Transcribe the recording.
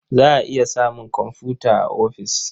Za a iya samun komfuta a ofis.